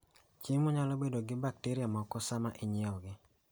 Chiemo nyalo bedo gi bakteria moko sama inyiewogi.